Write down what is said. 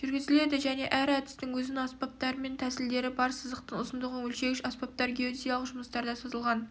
жүргізіледі және әр әдістің өзінің аспаптары мен тәсілдері бар сызықтың ұзындығын өлшегіш аспаптар геодезиялық жұмыстарда созылған